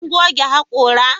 Kun goge hakora?